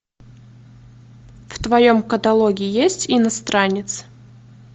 в твоем каталоге есть иностранец